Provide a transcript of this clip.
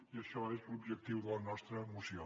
i això és l’objectiu de la nostra moció